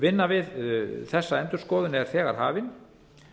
vinna við þessa endurskoðun er þegar hafin